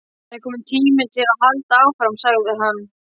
Það er kominn tími til að halda áfram sagði hann.